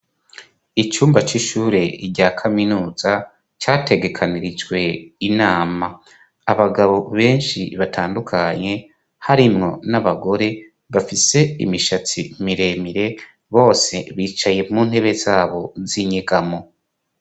Icumba c'ishure rya kaminuza categekanirijwe inama ,abagabo benshi batandukanye harimwo n'abagore bafise imishatsi miremire bose bicaye mu ntebe zabo z'inyegamo.